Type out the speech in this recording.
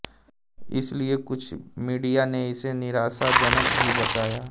इसलिए कुछ मीडिया ने इसे निराशाजनक भी बताया